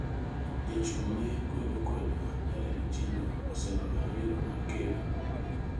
Jachung' ne kwedo kwedo Jared Ochilo oseloyo yiero mar ker